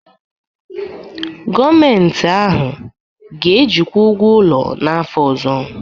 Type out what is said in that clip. Gọọmenti ahụ ga-ejikwa ụgwọ ụlọ n'afọ ọzọ